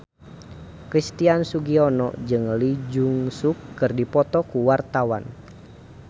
Christian Sugiono jeung Lee Jeong Suk keur dipoto ku wartawan